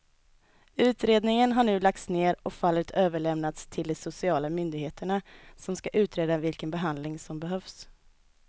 Utredningen har nu lagts ner och fallet överlämnats till de sociala myndigheterna som ska utreda vilken behandling som behövs.